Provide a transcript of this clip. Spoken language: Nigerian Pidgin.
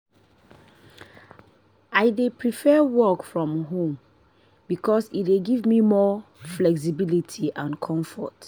i dey prefer work from home because e dey give me more flexibility and comfort.